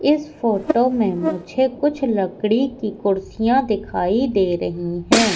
इस फोटो में मुझे कुछ लकड़ी की कुर्सियां दिखाई दे रही हैं।